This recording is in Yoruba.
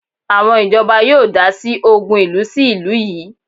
Àwọn ìjọba yóò dásí ògùn ìlú sí ìlú yìí